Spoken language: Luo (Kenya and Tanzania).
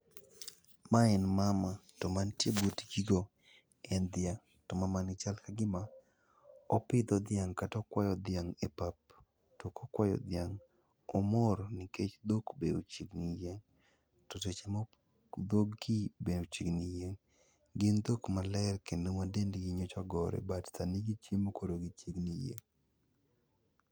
Mae en mama to mantie butgigo en dhiang'. To mamani chal mkagima opidho dhiang' kata okwayo dhiang' e pap to ka okwayo dhiang', omor. nikech dhok be chiegni yieng'. To seche moko dhog gi be ochiegni yieng'. Gin dhok maler kendo dendgi nyocha ogore but sani gichiemo koro gichiegni yieng'.